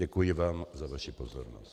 Děkuji vám za vaši pozornost.